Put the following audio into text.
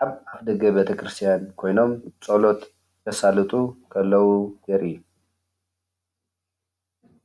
ኣብ ኣፍ ደገ ቤተክርስትያን ኮይኖም ፀሎት ዘሰልጡ ከለዉ ዘርኢ እዩ፡፡